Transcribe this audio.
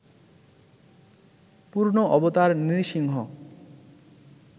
পূর্ণ অবতার নৃসিংহ